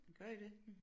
Gør I det